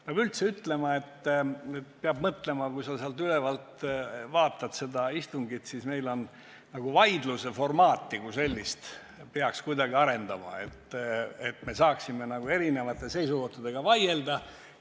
Peab üldse ütlema, et kui sa sealt ülevalt istungit vaatad, siis hakkad mõtlema, et selle vaidluse formaati kui sellist peaks kuidagi arendama, et me saaksime erinevate seisukohtadega vaielda.